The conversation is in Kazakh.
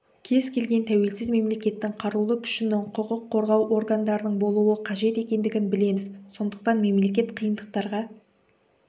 кез келген тәуелсіз мемлекеттің қарулы күшінің құқық қорғау органдарының болуы қажет екендігін білеміз сондықтан мемлекет қиындықтарға